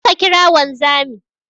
Kaje ka kira wanzami